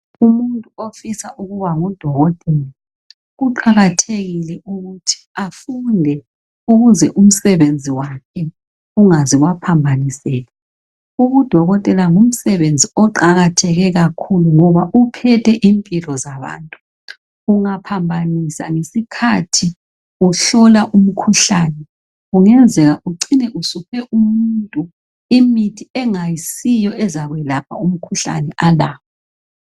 Umuntu ofisa ukuba ngudokotela kuqakathekile ukuthi afunde ukuze umsebenzi wakhe ungaze waphambaniseka .Ubudokotela ngumsebenzi oqakatheke kakhulu. Ngoba uphethe impilo zabantu Ungaphambanisa ngesikhathi uhlola umkhuhlane .Kungenzeka ucine usuphe umuntu imithi engayisiyo ezakwelapha umkhuhlane alawo .